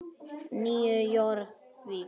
Nýju Jórvík.